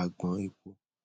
agbon epo